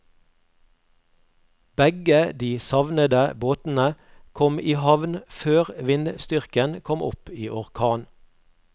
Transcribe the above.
Begge de savnede båtene kom i havn før vindstyrken kom opp i orkan.